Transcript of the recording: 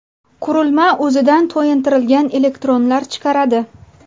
Qurilma o‘zidan to‘yintirilgan elektronlar chiqaradi.